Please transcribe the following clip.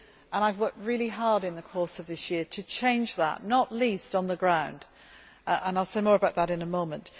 I have worked really hard in the course of this year to change that, not least on the ground, and I will say more about that in a moment.